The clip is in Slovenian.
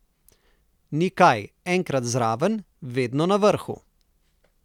Ni kaj, enkrat zraven, vedno na vrhu.